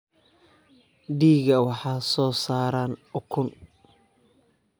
Digaagga waxay soo saaraan ukun.